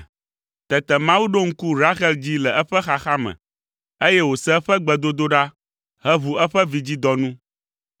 Tete Mawu ɖo ŋku Rahel dzi le eƒe xaxa me, eye wòse eƒe gbedodoɖa heʋu eƒe vidzidɔ nu.